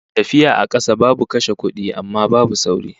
Tafiya a kasa babu kashe kudi, amma babu sauri